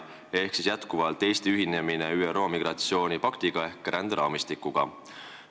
See teema on Eesti ühinemine ÜRO migratsioonipaktiga ehk ränderaamistikuga.